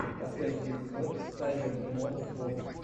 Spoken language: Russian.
последний эпизод сайбердимон вот